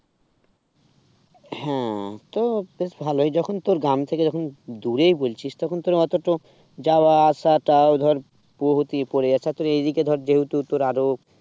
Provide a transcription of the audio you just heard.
হ্যাঁ তো বেশ ভালই যখন তোর গ্রাম থেকে যখন দূরে বলছিস তখন তোর অটোটা যাওয়া আসাটাও ধর বহুতই পড়ে যাচ্ছে তোর এদিকে ধর যেহেতু তোর আরো